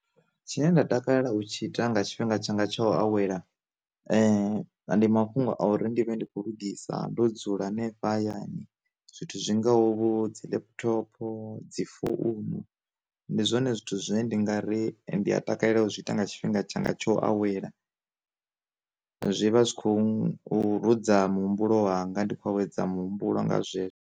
Tshine nda takalela u tshi ita nga tshifhinga tshanga tsho awela, ndi mafhungo a uri ndi vhe ndi kho lungisa ndo dzula henefho hayani zwithu zwi ngaho vho dzi laptopo, dzi founu, ndi zwone zwithu zwine ndi nga ri ndi a takalela u zwi ita nga tshifhinga tshanga tsho awela, zwi vha zwi khou ruza mu humbulo wanga ndi khou awedza muhumbulo nga zwezwo.